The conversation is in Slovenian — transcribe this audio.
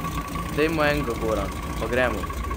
Dej mu enga, Goran, pa gremo.